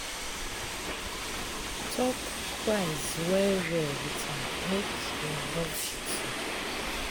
Talk price well well with am make e no cheat you.